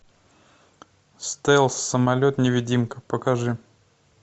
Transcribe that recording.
стелс самолет невидимка покажи